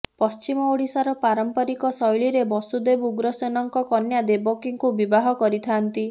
ପଶ୍ଚିମ ଓଡ଼ିଶାର ପାରମ୍ପରିକ ଶୈଳୀରେ ବସୁଦେବ ଉଗ୍ରସେନଙ୍କ କନ୍ୟା ଦେବକୀଙ୍କୁ ବିବାହ କରିଥାନ୍ତି